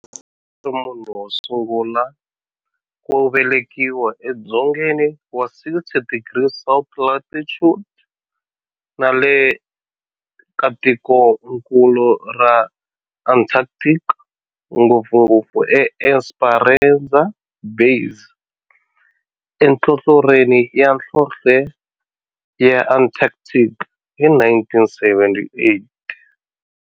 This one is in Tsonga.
A ri munhu wosungula ku velekiwa edzongeni wa 60 degrees south latitude nale ka tikonkulu ra Antarctic, ngopfungopfu eEsperanza Base enhlohlorhini ya nhlonhle ya Antarctic hi 1978.